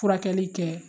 Furakɛli kɛ